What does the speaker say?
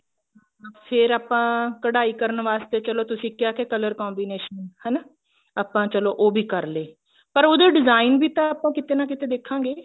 ਫੇਰ ਆਪਾਂ ਕਢਾਈ ਕਰਨ ਵਾਸਤੇ ਚੱਲੋ ਤੁਸੀਂ ਕਿਆ ਕਿ color combination ਹਨਾ ਆਪਾਂ ਚੱਲੋ ਉਹ ਵੀ ਕਰ ਲਏ ਪਰ ਉਹਦੇ design ਤਾਂਵੀ ਆਪਾਂ ਕਿਤੇ ਨਾ ਕਿਤੇ ਦੇਖਾਂਗੇ